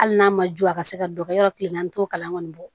Hali n'a ma jo a ka se ka dɔ kɛ yɔrɔ kile naani t'o kalan kɔni